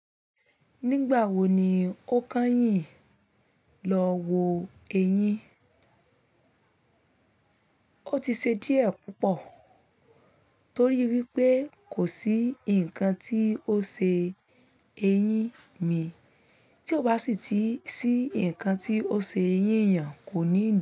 Nígbà wo ni ó kányìn lọ wo ẹyín? Ó ti ṣe díẹ̀ púpọ̀ torí wípé kò sí ǹkan tí ó ṣe eyín mi, tí ó bá sì ti sí ǹkan tí ó ṣe eyín ènìyàn kò ní dùn.